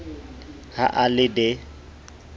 ha a le d e